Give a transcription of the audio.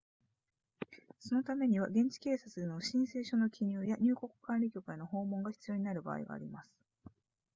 そのためには現地警察での申請書の記入や入国管理局への訪問が必要になる場合があります